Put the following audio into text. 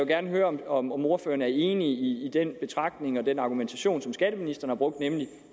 gerne høre om om ordføreren er enig i den betragtning og den argumentation som skatteministeren har brugt nemlig